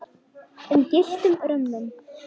um gylltum römmum.